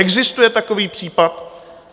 Existuje takový případ?